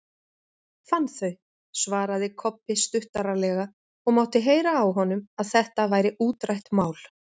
Fann þau, svaraði Kobbi stuttaralega og mátti heyra á honum að þetta væri útrætt mál.